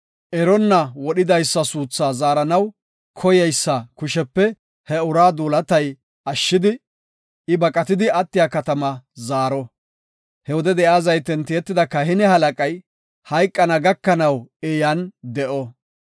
Eronna wodhidaysa suuthaa zaaranaw koyeysa kushepe he uraa duulatay ashshidi, I baqatidi attiya katamaa zaaro. He wode de7iya zayten tiyetida kahine halaqay hayqana gakanaw I yan de7o.